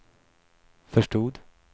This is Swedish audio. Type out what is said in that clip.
förstod